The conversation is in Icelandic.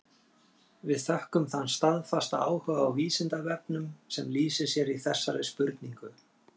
Við þökkum þann staðfasta áhuga á Vísindavefnum sem lýsir sér í þessari spurningu.